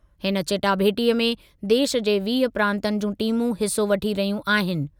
हिन चटाभेटीअ में देशु जे वीह प्रांतनि जूं टीमूं हिसो वठी रहियूं आहिनि।